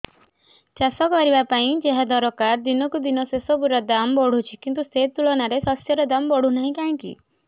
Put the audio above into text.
ଚାଷ କରିବା ପାଇଁ ଯାହା ଦରକାର ଦିନକୁ ଦିନ ସେସବୁ ର ଦାମ୍ ବଢୁଛି କିନ୍ତୁ ସେ ତୁଳନାରେ ଶସ୍ୟର ଦାମ୍ ବଢୁନାହିଁ କାହିଁକି